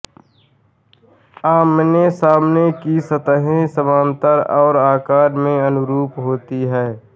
आमने सामने की सतहें समान्तर और आकार में अनुरूप होती हैं